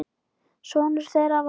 Sonur þeirra var